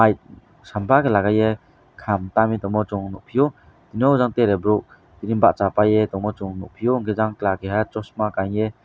sambakhe lagaye kham tamui tongmo chung nukphio tini tre borok tini bachapaye tongmo chung nukphio yang kla kaisa chosma kanye.